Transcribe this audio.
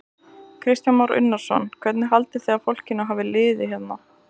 Kristján Már Unnarsson: Hvernig haldið þið að fólkinu hafi liðið hérna?